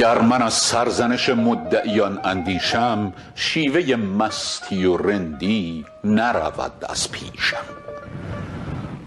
گر من از سرزنش مدعیان اندیشم شیوه مستی و رندی نرود از پیشم